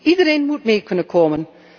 Iedereen moet mee kunnen komen.